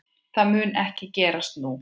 Það mun ekki gerast nú.